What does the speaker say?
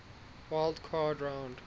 wild card round